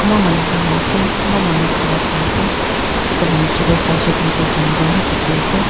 kumba manu buhi ase kumba manu khara kuri ase etu la niche te sai shey koi le toh jungle hi dikhi ase.